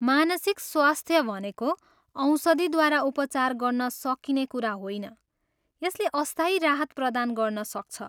मानसिक स्वास्थ्य भनेको औषधिद्वारा उपचार गर्न सकिने कुरा होइन, यसले अस्थायी राहत प्रदान गर्न सक्छ।